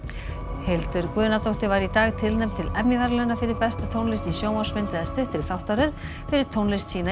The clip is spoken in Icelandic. Hildur Guðnadóttir var í dag tilnefnd til Emmy verðlauna fyrir bestu tónlist í sjónvarpsmynd eða stuttri þáttaröð fyrir tónlist sína í